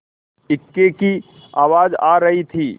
इक्के की आवाज आ रही थी